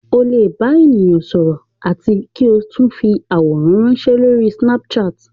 Ó lè bá èèyàn sọ̀rọ̀ àti kí o sì tún fi àwòrán ránsẹ́ lórí snapchat